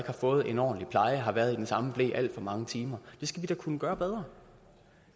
har fået en ordentlig pleje har været i den samme ble alt for mange timer det skal vi da kunne gøre bedre